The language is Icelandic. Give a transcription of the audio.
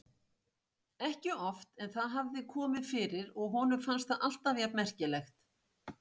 Ekki oft en það hafði komið fyrir og honum fannst það alltaf jafn merkilegt.